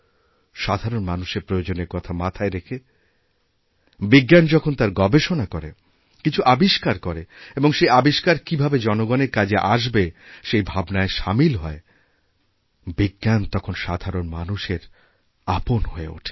সাধারণমানুষের প্রয়োজনের কথা মাথায় রেখে বিজ্ঞান যখন তার গবেষণা করে কিছু আবিষ্কার করেএবং সেই আবিষ্কার কীভাবে জনসাধারণের কাজে আসবে সেই ভাবনায় সামিল হয় বিজ্ঞান তখনসাধারণ মানুষের আপন হয়ে ওঠে